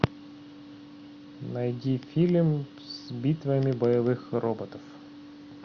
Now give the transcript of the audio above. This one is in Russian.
найди фильм с битвами боевых роботов